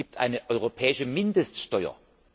Es gibt eine europäische Mindeststeuer.